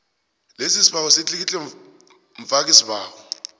lesibawo litlikitlwe mfakisibawo